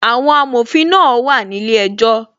Àwọn amòfin náà wà ní ilé ejọ́